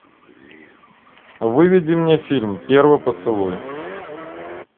выведи мне фильм первый поцелуй